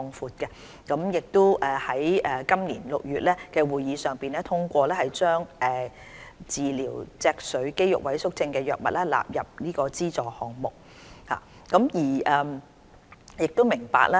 扶貧委員會已於今年6月的會議上通過把治療脊髓肌肉萎縮症的藥物納入關愛基金極度昂貴藥物援助項目。